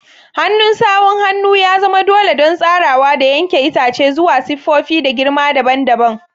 Hannun sawun hannu ya zama dole don tsarawa da yanke itace zuwa siffofi da girma dabam dabam.